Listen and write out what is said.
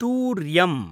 तूर्यम्